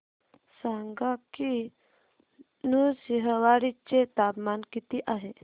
सांगा की नृसिंहवाडी चे तापमान किती आहे